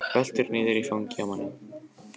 Veltur niður í fangið á manninum.